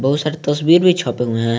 बहुत सारी तस्वीर भी छपे हुए हैं।